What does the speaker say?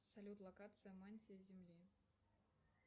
салют локация мантия земли